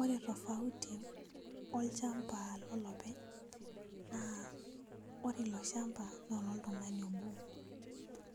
Ore tofauti olchamba lolopeny na ore iloshamba loltungani Obo